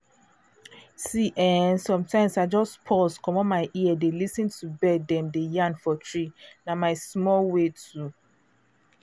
see ehsometimes i just* **‘pause’** *commot my ear dey lis ten to bird dem dey yarn for tree—na my small way to*